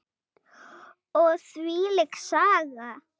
Og þvílík Saga.